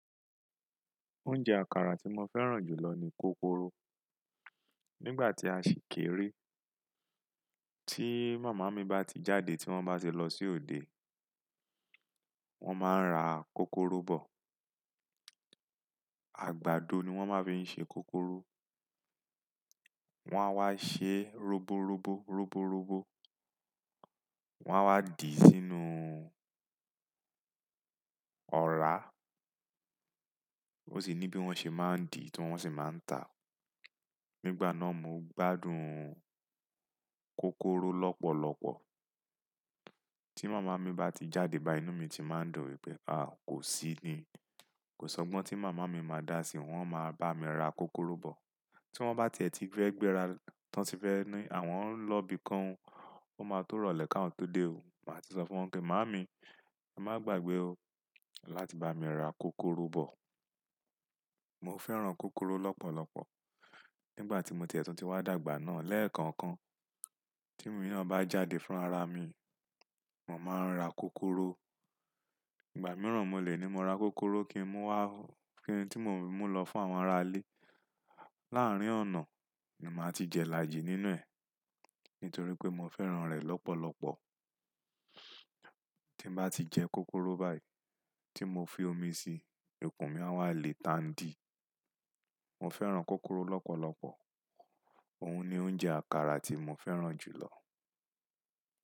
Oúnjẹ àkàrà tí mo fẹ́ràn jù lọ ni kókóró. Nígbà tí a ṣì kéré, tí màmá mi bá ti jáde tí wọ́n bá ti lọ sí òde, wọ́n máa ń ra kókóró bọ̀. Àgbàdo ni wọ́n máa fi n ṣe kókóró. Wọ́n á wá ṣe roborobo roborobo. Wọ́n á wá dì sínú ọ̀rá. Ó sì ní bí wọ́n ṣe máa ń dì ti wọn ṣi máa ń ta. Nígbà náà mo gbádùn kókóró lọ́pọ̀lọ́pọ̀. Tí màmá mi bá ti jáde báyii inú mi ti máa ń dùn wipé a, kò sí ni. Kò sọ́gbọ́n tí màmá mi máa dà sí, wọn máa bá mi ra kókóró bọ̀. Tí wọ́n bá tiẹ̀ tí fẹ́ gbéra, tán ti fẹ́ ní àwọn ń lọ ibìkan o, ó máa tó irọ̀lẹ́ ká won tó dé o. Màá ti sọ fún wọn pé "màámi, má gbàgbé o láti bá mi ra kókóró bọ̀." Mo fẹ́ràn kókóró lọ́pọ̀lọ́pọ̀. Ngbà tí mo tiẹ̀ tó ti wá dàgbà náà lẹ́ẹ̀kọ̀ọ̀kan, tí emi naa ba jáde fúnra ra mi, mo máa ń ra kókóró. Ìgbà mìíràn mo lè ní mo ra kókóró kí n mú wá, kí n tí mo mú lọ fún àwọn ará ilé. Láàárín ọ̀nà ni màá ti jẹ ilaàjì nínú ẹ̀ nítorí pé mo fẹ́ràn rẹ̀ lọ́pọ̀lọ́pọ̀. Tí n bá ti jẹ kókóró báyìí tí mo fi omi sí, ikùn mi a wá le tàn dí. Mo fẹ́ràn kókóró lọ́pọ̀lọ́pọ̀. Òun ni oúnjẹ àkàrà tí mo fẹ́ràn jù lọ.